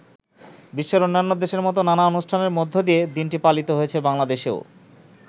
বিশ্বের অন্যান্য দেশের মত নানা অনুষ্ঠানের মধ্যে দিয়ে দিনটি পালিত হয়েছে বাংলাদেশেও।